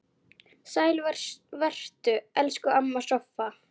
Vertu sæl, elsku amma Soffa.